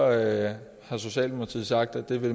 at